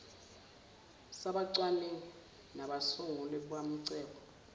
sabacwaningi nabasunguli bamacebo